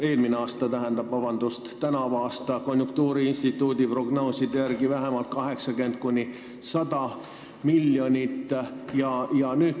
Eelmisel aastal jäi saamata mitukümmend miljonit eurot, tänavu jääb konjunktuuriinstituudi prognooside järgi laekumata vähemalt 80–100 miljonit.